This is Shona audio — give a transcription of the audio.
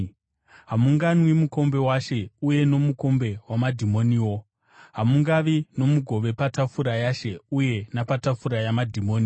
Hamunganwi mukombe waShe uye nomukombe wamadhimoniwo; hamungavi nomugove patafura yaShe uye napatafura yamadhimoni.